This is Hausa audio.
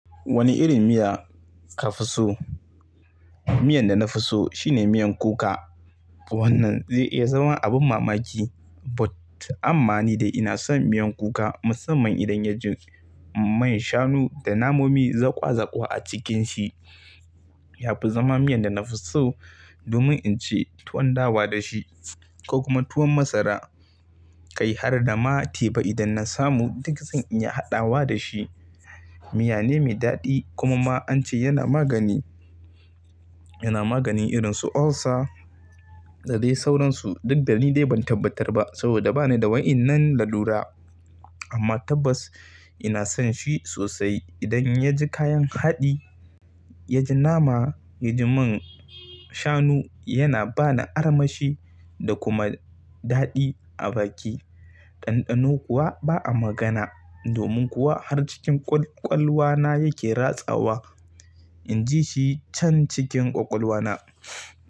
Wani irin miya ka fi so? Miyan da na fi so shine miyan kuka. Wannan zai iya zama abin mamaki, but amma ni dai ina son miyan kuka musamman idan yaji man shanu da namomi zaƙwa zaƙwa a cikin shi. Yafi zama miyan da na fi so domin in ci tuwon dawa da shi ko kuma tuwon masara. Kai har da ma teba idan na samu duk zan iya haɗawa da shi. Miya ne mai daɗi kuma an ce yana magani, yana maganin irin su ulcer da dai sauransu. Duk da ni dai ban tabbatar ba saboda ba ni da wa'inan lalura. Amma tabbas ina son shi sosai idan ya ji kayan haɗi, ya ji nama, ya ji man shanu yana ba ni armashi da kuma daɗi a baki. Ɗanɗano kuwa ba a magana. Domin kuwa har cikin ƙwalƙwalwa na yake ratsawa. In ji shi can cikin ƙwaƙwalwa na.